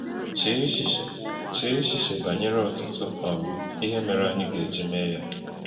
Chee echiche Chee echiche banyere ọtụtụ um ihe mere anyị ga-eji mee ya!